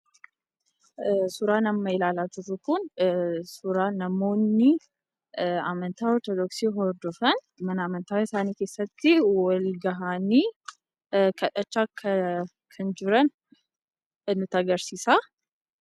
Suuraan amma ilaalaa jirru kun suuraa namoonni amantaa Ortodooksii hordofan mana amantaa isaanii keessaatti wal gahanii, kadhachaa kan jiran nutti agarsiisa.